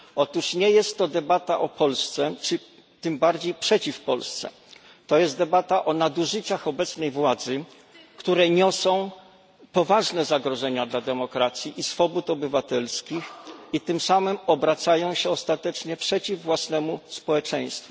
Otóż nie jest to debata o Polsce czy tym bardziej przeciw Polsce, to jest debata o nadużyciach obecnej władzy, które niosą poważne zagrożenia dla demokracji i swobód obywatelskich i tym samym obracają się ostatecznie przeciw własnemu społeczeństwu.